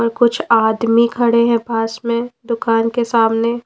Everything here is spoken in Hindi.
और कुछ आदमी खड़े हैं पास में दुकान के सामने।